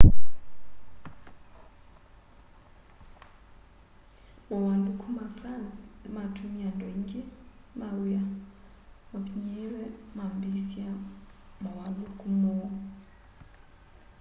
mauwaluku ma france nimatumie andu aningi ma wia mavinyiiwe mambiisya mauwaluku moo